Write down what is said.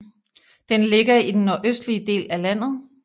Den ligger i den nordøstlige del af landet